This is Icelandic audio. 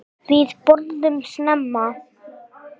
Við borðum snemma.